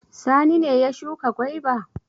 Sani ne ya shuka gwaiba?